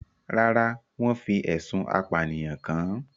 Rárá, wọ́n fi ẹ̀sùn apànìyàn kan-an